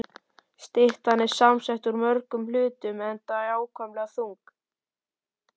Styttan er samsett úr mörgum hlutum, enda ákaflega þung.